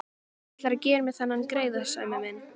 Ætlarðu að gera mér þennan greiða, Sæmi minn?